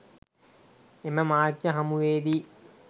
එම මාධ්‍ය හමුවේදී